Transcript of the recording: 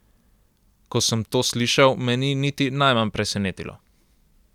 Ko sem to slišal, me ni niti najmanj presenetilo.